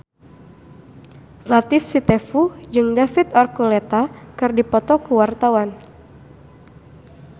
Latief Sitepu jeung David Archuletta keur dipoto ku wartawan